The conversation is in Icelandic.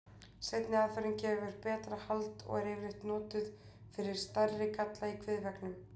Seinni aðferðin gefur betra hald og er yfirleitt notuð fyrir stærri galla í kviðveggnum.